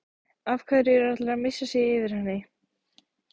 Af hverju er allir að missa sig yfir henni?